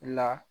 La